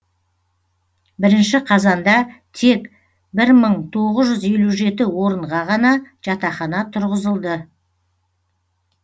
бірінші қазанда тек бір мың тоғыз жүз елу жеті орынға ғана жатақхана тұрғызылды